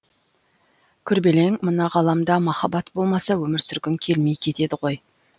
күрбелең мына ғаламда махаббат болмаса өмір сүргің келмей кетеді ғой